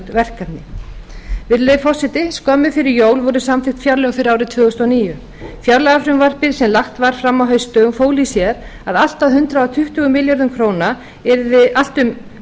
verkefni virðulegi forseti skömmu fyrir jól voru samþykkt fjárlög fyrir árið tvö þúsund og níu fjárlagafrumvarpið sem lagt var fram á haustdögum fól í sér að um